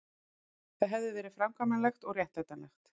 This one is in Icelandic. Það hefði verið framkvæmanlegt og réttlætanlegt